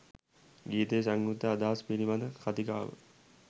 ගීතයේ සංයුක්ත අදහස පිළිබඳ කතිකාව